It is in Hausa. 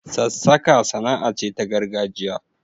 Sassaka sana'a ce ta gargajiya.